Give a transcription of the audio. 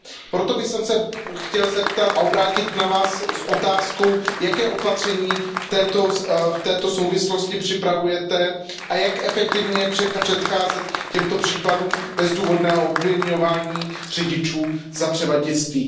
Proto bych se chtěl obrátit na Vás s otázkou, jaká opatření v této souvislosti připravujete a jak efektivně předcházet těmto případům bezdůvodného obviňování řidičů z převaděčství.